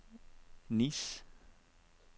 Nice